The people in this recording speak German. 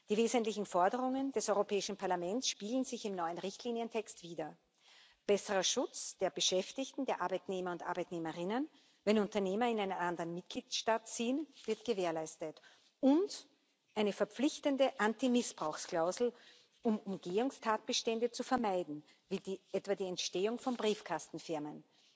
Die wesentlichen Forderungen des Europäischen Parlaments spiegeln sich im neuen Richtlinientext wider besserer Schutz der Beschäftigten, der Arbeitnehmer und Arbeitnehmerinnen, wenn Unternehmer in einen anderen Mitgliedstaat ziehen, wird gewährleistet und eine verpflichtende Antimissbrauchsklausel, um Umgehungstatbestände zu vermeiden, wie etwa die Entstehung von Briefkastenfirmen.